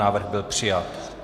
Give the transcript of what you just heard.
Návrh byl přijat.